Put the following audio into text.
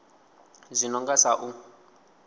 zwi no nga sa u